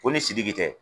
Ko ni sidiki tɛ